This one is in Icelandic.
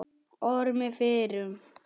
Ormi fyrrum.